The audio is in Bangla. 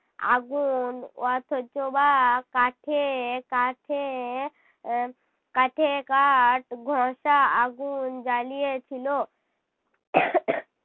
আগুন অথচ বা কাঠে কাঠে আহ কাঠে কাঠ ঘষা আগুন জ্বালিয়ে ছিল।